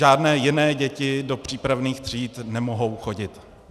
Žádné jiné děti do přípravných tříd nemohou chodit.